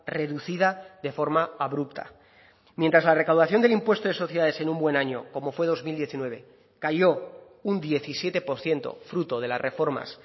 reducida de forma abrupta mientras la recaudación del impuesto de sociedades en un buen año como fue dos mil diecinueve cayó un diecisiete por ciento fruto de las reformas